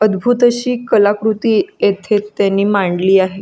अदभूत अशी कलाकृती येथे त्यांनी मांडली आहे.